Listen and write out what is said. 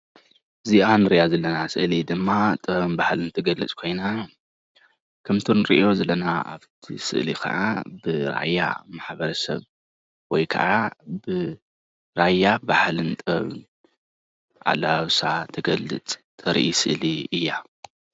እዚአ እንሪአ ዘለና ስእሊ ድማ ጥበብን ባህልን ትገልፅ ኮይና ከምቲ እንሪኦ ዘለና አብቲ ስእሊ ከዓ ብ ራያ ማሕበረ ሰብ ወይ ከዓ ብ ራያ ባህልን ጥበብን አለባብሳ ትገልፅ, ተርኢ ስእሊ እያ።